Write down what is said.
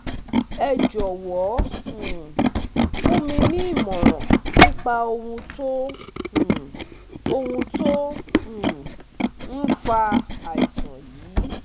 ẹ jọ̀wọ́ um fún mi ní ìmọ̀ràn nípa ohun tó um ohun tó um ń fa àìsàn yìí